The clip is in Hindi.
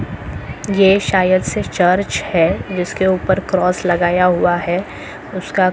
ये शायद से चर्च है जिसके ऊपर क्रॉस लगाया हुआ है उसका--